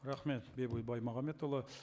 рахмет бейбіт баймағамбетұлы